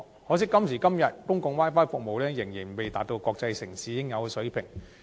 可惜到了今時今日，公共 Wi-Fi 服務仍未達到國際城市應有的水平。